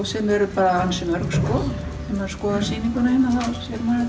sem eru bara ansi mörg sko ef maður skoðar sýninguna að